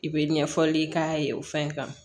I bɛ ɲɛfɔli k'a ye o fɛn kan